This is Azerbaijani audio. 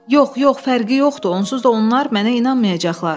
Yox, yox, fərqi yoxdur, onsuz da onlar mənə inanmayacaqlar.